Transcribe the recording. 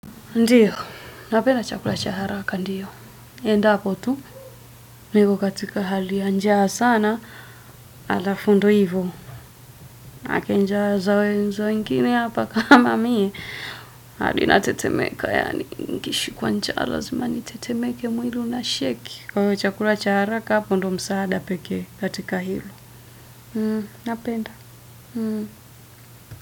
Ndiyo, napenda chakula cha haraka, ndiyo. Endapo tu, nipo katika hali ya njaa sana, alafu ndo hivyo. Maanake njaa za wengine hapa kama mie. Hadi natetemeka yaani, nikishikwa njaa lazima nitetemeke, mwili una shake kwa chakula cha haraka, hapo ndo msaada pekee katika hilo. Napenda.